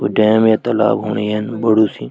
कोई डैम या तालाब होण येन बड़ु सी ।